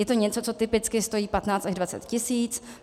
Je to něco, co typicky stojí 15 až 20 tis.